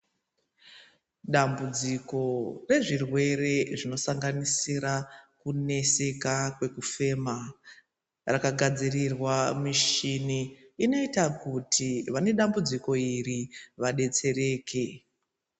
Dambudziko rezvirwere zvinosanganisira kuneseka kwekufema rakagadzirirwa mishini inoita kuti vane dambudziko iri vadetsereke.